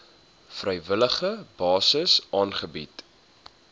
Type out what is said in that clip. vrywillige basis aangebied